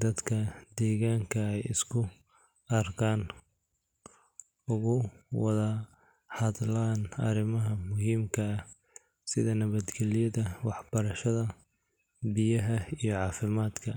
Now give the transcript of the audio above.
dadka deegaanka ay isku arkaan, uga wada hadlaan arrimaha muhiimka ah sida nabadgelyada, waxbarashada, biyaha iyo caafimaadka.